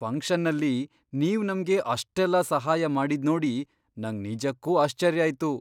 ಫಂಕ್ಷನ್ನಲ್ಲಿ ನೀವ್ ನಮ್ಗೆ ಅಷ್ಟೆಲ್ಲ ಸಹಾಯ ಮಾಡಿದ್ನೋಡಿ ನಂಗ್ ನಿಜಕ್ಕೂ ಆಶ್ಚರ್ಯ ಆಯ್ತು.